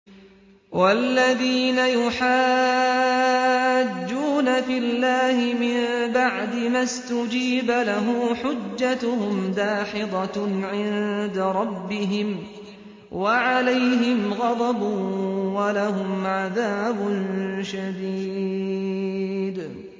وَالَّذِينَ يُحَاجُّونَ فِي اللَّهِ مِن بَعْدِ مَا اسْتُجِيبَ لَهُ حُجَّتُهُمْ دَاحِضَةٌ عِندَ رَبِّهِمْ وَعَلَيْهِمْ غَضَبٌ وَلَهُمْ عَذَابٌ شَدِيدٌ